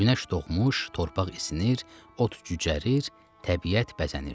Günəş doğmuş, torpaq isinir, ot cücərir, təbiət bəzənirdi.